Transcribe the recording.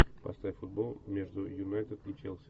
поставь футбол между юнайтед и челси